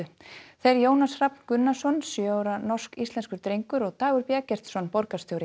þeir Jónas Hrafn Gunnarsson sjö ára norsk íslenskur drengur og Dagur b Eggertsson borgarstjóri